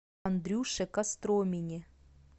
андрюше костромине